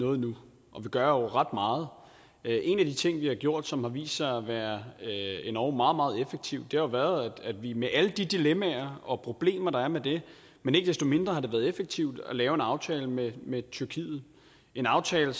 noget nu og vi gør jo ret meget en af de ting vi har gjort og som har vist sig at være endog meget meget effektiv har jo været at vi med alle de dilemmaer og problemer der er med det men ikke desto mindre har det været effektivt har lavet en aftale med med tyrkiet en aftale